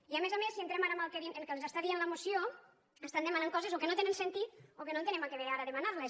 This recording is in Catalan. i a més a més si entrem ara en el que ens està dient la moció estan demanant coses o que no tenen sentit o que no entenem a què ve ara demanar les